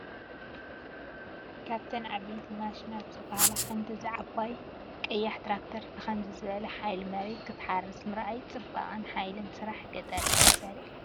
ካብተን ዓበይቲ ማሽናት ዝባሃላ ሓንቲ እዛ ዓባይ ቀያሕ ትራክተር ብኸምዚ ዝበለ ሓይሊ መሬት ክትሓርስ ምርኣይ ጽባቐን ሓይልን ስራሕ ገጠር እዩ ዘርኢ!